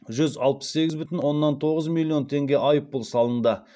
жүз алпыс сегіз бүтін оннан тоғыз миллион теңге айыппұл салынды